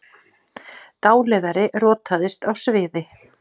Dáleiðari rotaðist á sviði